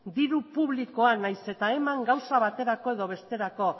diru publikoa nahiz eta eman gauza baterako edo besterako